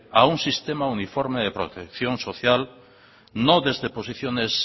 a un sistema uniforme de protección social no desde posiciones